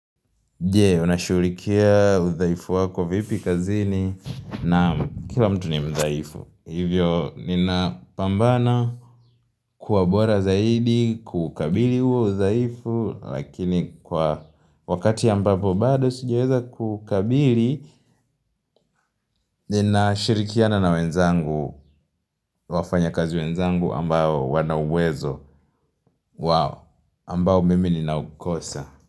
Jee unashughulikia udhaifu wako vipi kazini nam kila mtu ni mdhaifu Hivyo nina pambana kuwa bora zaidi kukabili huo udhaifu Lakini kwa wakati ambapo bado sijaweza kukabili Ninashirikiana na wenzangu wafanyikazi wenzangu ambao wana uwezo wao ambao mimi ninaukosa.